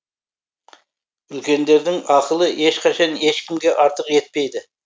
үлкендердің ақылы ешқашан ешкімге артық етпейді